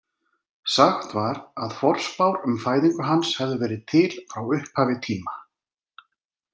Sagt var að forspár um fæðingu hans hefðu verið til frá upphafi tíma.